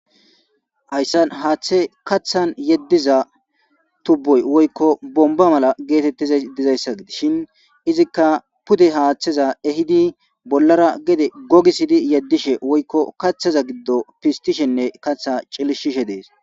Hayssa haaththe kathan yeddiza tubboy woykko bomba mala geetettiza dizayssa gidi shin izikka pude haaththeza ehidi bollara gede gogisidi yeddishe woykko kaththaza giddo pistishenne katha cilishishe dees.